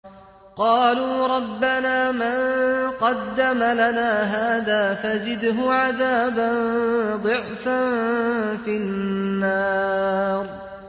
قَالُوا رَبَّنَا مَن قَدَّمَ لَنَا هَٰذَا فَزِدْهُ عَذَابًا ضِعْفًا فِي النَّارِ